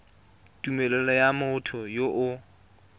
tumelelo ya motho yo o